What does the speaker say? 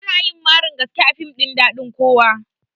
Anyi marin gaske a fim ɗin daɗin kowa